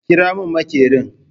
Ƙira mun maƙerin!